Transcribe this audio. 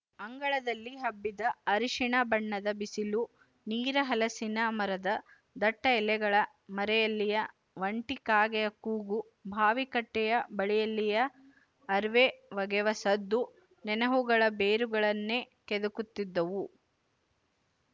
ಅಂಗಳದಲ್ಲಿ ಹಬ್ಬಿದ ಅರಿಸಿಣ ಬಣ್ಣದ ಬಿಸಿಲು ನೀರ ಹಲಸಿನ ಮರದ ದಟ್ಟ ಎಲೆಗಳ ಮರೆಯಲ್ಲಿಯ ಒಂಟಿ ಕಾಗೆಯ ಕೂಗು ಬಾವಿಕಟ್ಟೆಯ ಬಳಿಯಲ್ಲಿಯ ಅರಿವೆ ಒಗೆವ ಸದ್ದು ನೆನಹುಗಳ ಬೇರುಗಳನ್ನೇ ಕೆದಕುತ್ತಿದ್ದುವು